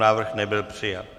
Návrh nebyl přijat.